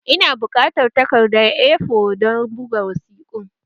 Ina buƙatar takardar A4 don buga wasiƙun